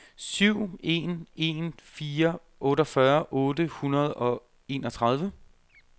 syv en en fire otteogfyrre otte hundrede og enogtredive